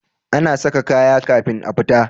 A saka kaya kafin a fita